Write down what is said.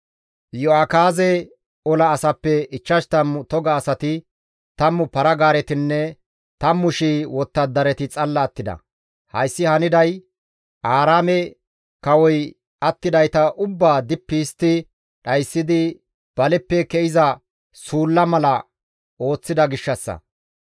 Iyo7akaaze ola asappe 50 toga asati, tammu para-gaaretinne 10,000 wottadarati xalla attida; hayssi haniday Aaraame kawoy attidayta ubbaa dippi histti dhayssidi baleppe ke7iza suulla mala ooththida gishshassa.